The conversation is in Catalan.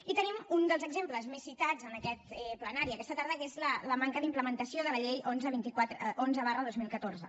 i tenim un dels exemples més citats en aquest plenari aquesta tarda que és la manca d’implementació de la llei onze dos mil catorze